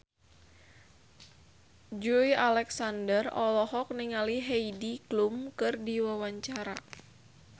Joey Alexander olohok ningali Heidi Klum keur diwawancara